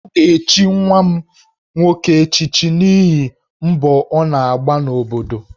A ga-echichi nwa m nwoke echichi n'ihi mbọ ọ na-agba n'obodo